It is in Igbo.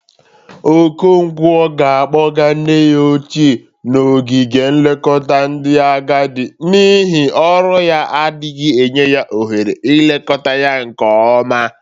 Okonkwo ga-akpọga nne ya ochie n'ogige nlekọta ndị agadị n'ihi ọrụ ya adịghị enye ya ohere ilekọta ya nke ọma.